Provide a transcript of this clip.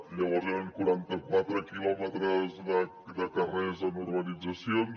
llavors eren quaranta quatre quilòmetres de carrers en urbanitzacions